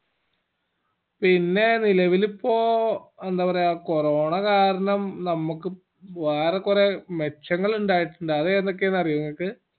പിന്നെ നിലവില് ഇപ്പൊ എന്താ പറയാ corona കാരണം നമ്മക്ക് വേറെ കൊറേ മെച്ചങ്ങൾ ഇണ്ടായിട്ടിണ്ട് അത് ഏതൊക്കെന്ന് അറിയോ നിങ്ങക്ക്